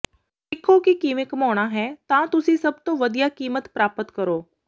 ਸਿੱਖੋ ਕਿ ਕਿਵੇਂ ਘੁਮਾਉਣਾ ਹੈ ਤਾਂ ਤੁਸੀਂ ਸਭ ਤੋਂ ਵਧੀਆ ਕੀਮਤ ਪ੍ਰਾਪਤ ਕਰੋ